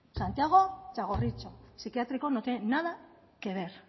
santiago txagorritxu psiquiátrico no tiene nada que ver